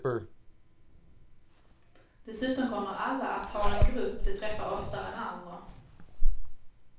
Dessutom kommer alla att ha en grupp de träffar oftare än andra.